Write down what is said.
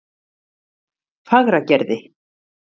Fagragerði